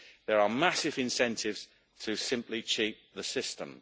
There are massive incentives to simply cheat the system.